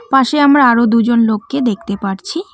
পাশে আমরা আরো দুজন লোককে দেখতে পারছি।